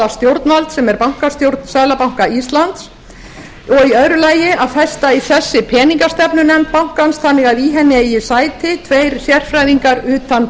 stjórnvald sem er bankastjórn seðlabanka íslands og í öðru lagi að festa í sessi peningastefnunefnd bankans þannig að í henni eigi sæti tveir sérfræðingar utan